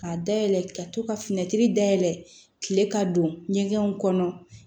K'a dayɛlɛ ka to ka fini dayɛlɛ kile ka don ɲɛgɛnw kɔnɔ